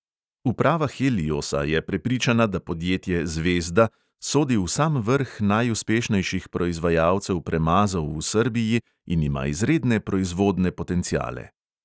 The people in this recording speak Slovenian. Uprava heliosa je prepričana, da podjetje zvezda sodi v sam vrh najuspešnejših proizvajalcev premazov v srbiji in ima izredne proizvodne potenciale.